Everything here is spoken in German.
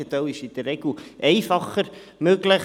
Das Gegenteil ist in der Regel einfacher möglich.